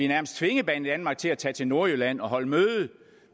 nærmest tvinge banedanmark til at tage til nordjylland og holde møde